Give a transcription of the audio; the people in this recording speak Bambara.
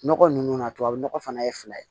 Nɔgɔ nunnu na tubabu nɔgɔ fana ye fila ye